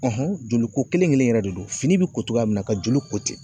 joli ko kelen kelen in yɛrɛ de don .Fini bi ko togoya min na ka joli ko ten.